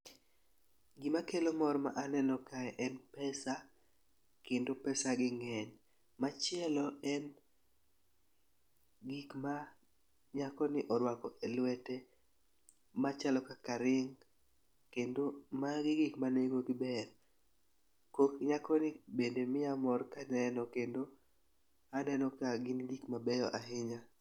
Gima kelo mor ma aneno kae en pesa kendo pesa gi ng'eny . Machielo en gik ma nyako ni orwako e lwete machalo kaka ring kendo magi gin gik ma nengo gi ber. Kok nyako ni bende miya mor kaneno kendo aneno ka gin gik mabeyo ahinya.